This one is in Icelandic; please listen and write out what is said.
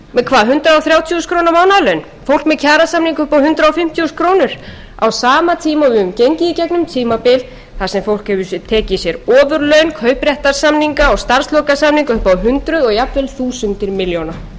þúsund króna mánaðarlaun fólk með kjarasamninga upp á hundrað fimmtíu þúsund krónur á sama tíma og við höfum gengið í gegnum tímabil þar sem fólk hefur tekið sér ofurlaun kaupréttarsamninga og starfslokasamninga upp á hundruð og jafnvel þúsundir milljóna við sem skipum stjórnarandstöðuna